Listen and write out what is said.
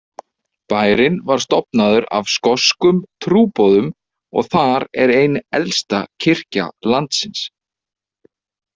Bærinn var stofnaður af skoskum trúboðum og þar er ein elsta kirkja landsins.